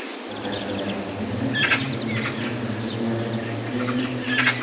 Faqat sog‘lom onadan sog‘lom farzand tug‘iladi, deymiz.